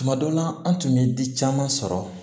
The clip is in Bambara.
Tuma dɔ la an tun bɛ di caman sɔrɔ